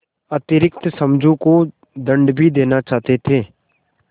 अतिरिक्त समझू को दंड भी देना चाहते थे